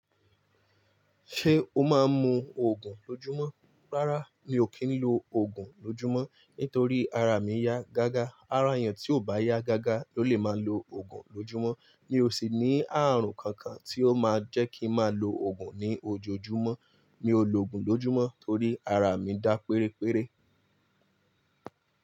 Ṣé o máa ń mu Ògùn lójúmọ́? Rárá, mi ò kí ń lo Ògùn lójúmọ́ nítorí ara mi ya gágá. Ara èèyàn tí ò bá yá gágá ló lè máa ń lo Ògùn lójúmọ́. Mi ò sì ní àrùn kankan tí ó máa jẹ́ kí n máa lo Ògùn ní ojoojúmọ́. Mi ò lo Ògùn lójúmọ́ torí ara mi dá péréperé.